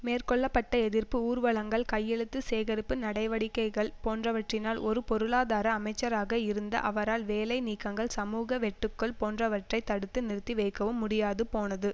மேற்கொள்ள பட்ட எதிர்ப்பு ஊர்வலங்கள் கையெழுத்து சேகரிப்பு நடவடிக்கைகள் போன்றவற்றினால் ஒரு பொருளாதார அமைச்சராக இருந்த அவரால் வேலை நீக்கங்கள் சமூக வெட்டுக்கள் போன்றவற்றை தடுத்து நிறுத்தி வைக்கவும் முடியாது போனது